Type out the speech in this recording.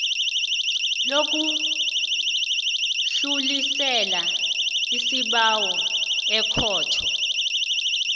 lokudlulisela isibawo ekhotho